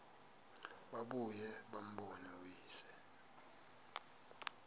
babuye bambone uyise